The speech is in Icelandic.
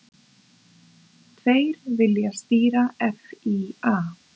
Tveir vilja stýra FÍA